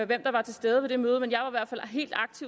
hvem der var til stede ved det møde men jeg og jeg